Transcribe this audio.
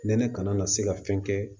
Nɛnɛ kana na se ka fɛn kɛ